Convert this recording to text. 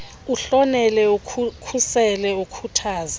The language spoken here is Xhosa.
uhlonele ukhusele ukhuthaze